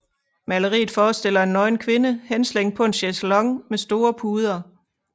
Maleriet forestiller en nøgen kvinde henslængt på en chaiselong med store puder